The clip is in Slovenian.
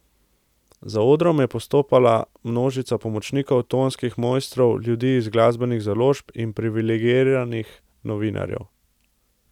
Za odrom je postopala množica pomočnikov, tonskih mojstrov, ljudi iz glasbenih založb in privilegiranih novinarjev.